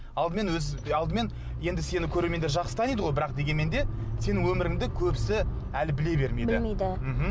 алдымен алдымен енді сені көрермендер жақсы таниды ғой бірақ дегенмен де сенің өміріңді көбісі әлі біле бермейді білмейді мхм